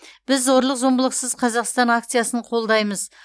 біз зорлық зомбылықсыз қазақстан акциясын қолдаймыз